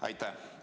Aitäh!